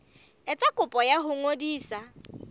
etsa kopo ya ho ngodisa